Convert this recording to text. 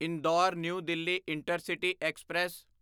Indore New Delhi intercity express